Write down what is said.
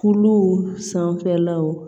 Kulow sanfɛlaw